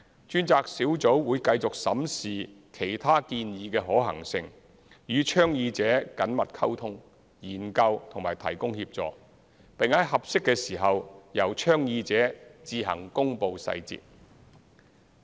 專責小組會繼續審視其他建議的可行性，與倡議者緊密溝通、研究及提供協助，並在合適的時間由倡議者自行公布細節。